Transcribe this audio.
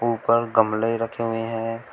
ऊपर गमले रखे हुए हैं।